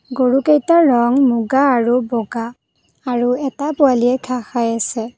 গৰুকেইটাৰ ৰং মুগা আৰু বগা আৰু এটা পোৱালিয়ে ঘাঁহ খাই আছে।